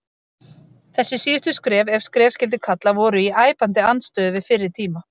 Þessi síðustu skref, ef skref skyldi kalla, voru í æpandi andstöðu við fyrri tíma.